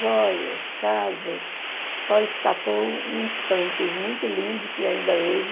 Joias, casa, só escapou uns santos muito lindo que ainda hoje...